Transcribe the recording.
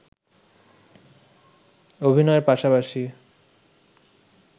অভিনয়ের পাশাপাশি